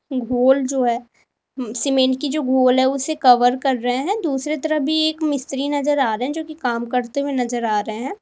घोल जो है सीमेंट की जो घोल है उसे कवर कर रहे हैं दूसरे तरफ भी एक मिस्त्री नजर आ रहे हैं जो कि काम करते हुए नजर आ रहे हैं।